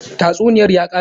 Tatsuniyar ya kare?